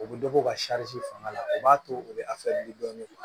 U bɛ dɔ bɔ ka fanga la u b'a to u bɛ dɔɔnin